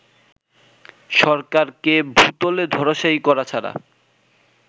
সরকারকে ভূতলে ধরাশায়ী করা ছাড়া